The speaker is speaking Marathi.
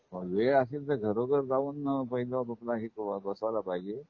वेळ असेल तर घरोघर जाऊन पाहिल आपल हे बसायला पाहिजे